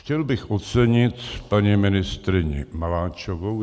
Chtěl bych ocenit paní ministryni Maláčovou.